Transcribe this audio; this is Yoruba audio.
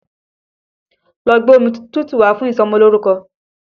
Lọ́ gbé omi tútù wá fún ìsọmọlórúkọ!